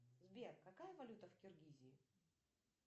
сбер какая валюта в киргизии